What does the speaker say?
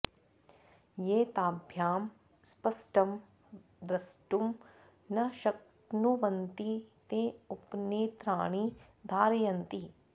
ये ताभ्यां स्पष्टं द्रष्टुं न शक्नुवन्ति ते उपनेत्राणि धारयन्ति